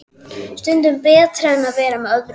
Stundum betra en að vera með öðrum.